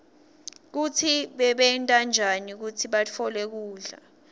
kutsi bebenta njani kutsi batfole kudla